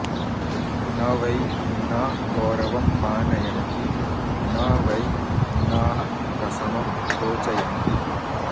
न वै भिन्ना गौरवं मानयन्ति न वै भिन्नाः प्रशमं रोचयन्ति